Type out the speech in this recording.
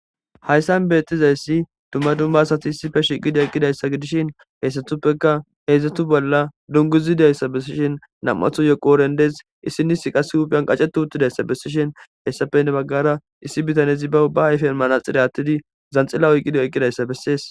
Hayssan beettizayssi dummadumma asati shiqi eqidayssa gidishin haysdatuppekkaheedzdzatu bolla dunguzi dizayssa bessishin nam7anthoyyoqooren dees.issineyssi huuphen qashetti uttidayssa bessishe hayssappe heni baggara issi bitanezi be ayfen manaxxire aathidi zanxila oykkidayssa bessees.